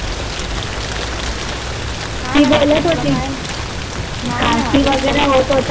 ती बोलत होती. काय खासी वगैरे होत होति.